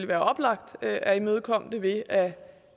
være oplagt at imødekomme det ved at